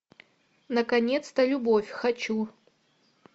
наконец то любовь хочу